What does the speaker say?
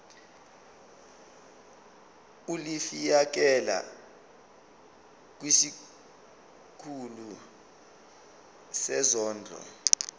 ulifiakela kwisikulu sezondlo